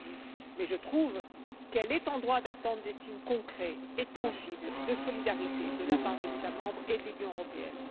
Cela a été dit mais je trouve qu'elle est en droit d'attendre des signes concrets et tangibles de solidarité de la part des États membres et de l'Union européenne.